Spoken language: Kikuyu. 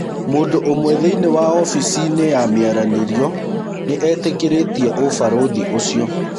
Mũndũũmwe thĩinĩ wa ofisinĩ ya mĩaranĩrio nĩetĩkĩrĩtie ũbarũthĩ ũcio.